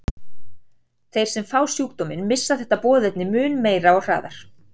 Þeir sem fá sjúkdóminn missa þetta boðefni mun meira og hraðar.